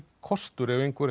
kostur ef einhver